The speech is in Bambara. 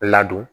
Ladon